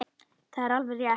Það er alveg rétt.